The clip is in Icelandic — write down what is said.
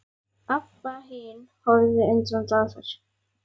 Abba hin horfði undrandi á þær.